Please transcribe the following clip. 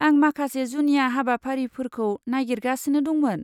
आं माखासे जुनिया हाबाफारिफोरखौ नागिरगासिनो दंमोन।